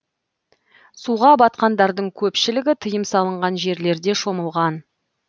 суға батқандардың көпшілігі тыйым салынған жерлерде шомылған